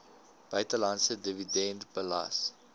buitelandse dividend belas